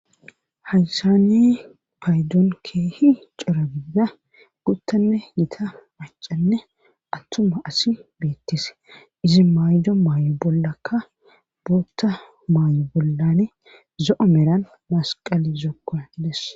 Haysani paydon keehi cora gidida guttane yita macanne attuma asi beettise izi maaydo maayo bollakka bootta maayo bollane zo'o meran masqali zokko des.